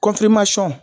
kɔnpilɛmansɔn